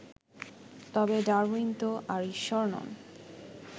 তবে ডারউইন তো আর ঈশ্বর নন